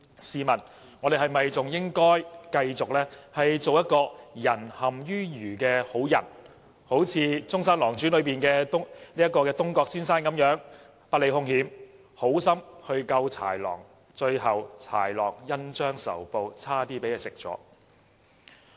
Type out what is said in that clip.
試問我們是否應該繼續做一個"仁陷於愚"的好人，好像"中山狼傳"中的東郭先生一樣，不理兇險，好心救豺狼，最後豺狼恩將仇報差點吃了他？